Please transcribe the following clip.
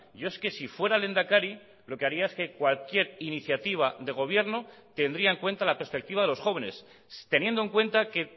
yo es que si fuera lehendakari lo que haría es que cualquier iniciativa de gobierno tendría en cuenta la perspectiva de los jóvenes teniendo en cuenta que